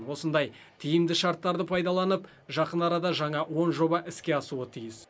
осындай тиімді шарттарды пайдаланып жақын арада жаңа он жоба іске асуы тиіс